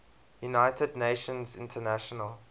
united nations international